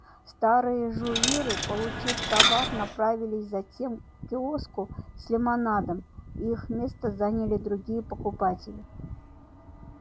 старые жуиры получив товар направились затем к киоску с лимонадом и их место заняли другие покупатели